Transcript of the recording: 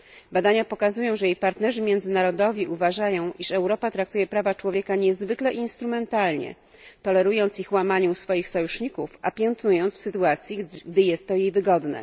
Badania pokazują, że jej partnerzy międzynarodowi uważają, iż Europa traktuje prawa człowieka niezwykle instrumentalnie, tolerując ich łamanie u swoich sojuszników, a piętnując w sytuacji, gdy jest to jej wygodne.